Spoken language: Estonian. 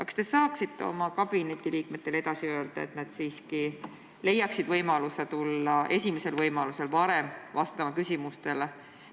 –, kas te saaksite aga ka oma kabineti liikmetele edasi öelda, et nad siiski leiaksid võimaluse tulla varem, esimesel võimalusel küsimustele vastama?